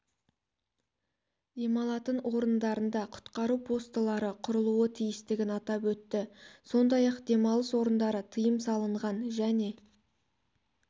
демалатын орындарында құтқару постылары құрылуы тиістігін атап өтті сондай ақ демалыс орындары тыйым салынған және